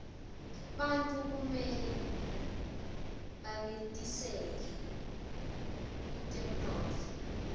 bantfu kumele banetiseke kutemtotfo